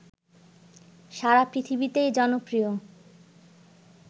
সারা পৃথিবীতেই জনপ্রিয়